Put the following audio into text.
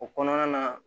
O kɔnɔna na